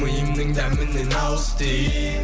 миымның дәмінен ауыз ти